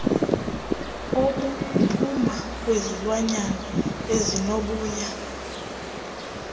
obuphuma kwizilwanyana ezinoboya